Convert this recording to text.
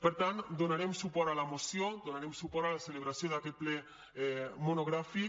per tant donarem suport a la moció donarem suport a la celebració d’aquest ple monogràfic